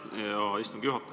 Aitäh, hea istungi juhataja!